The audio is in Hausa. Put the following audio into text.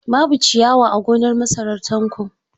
Babu ciyawa a gonar masarar Tanko.